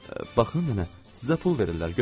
Baxın nənə, sizə pul verirlər, götürün.